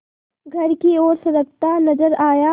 घर की ओर सरकता नजर आया